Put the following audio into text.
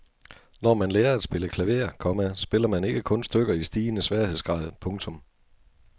Når man lærer at spille klaver, komma spiller man ikke kun stykker i stigende sværhedsgrad. punktum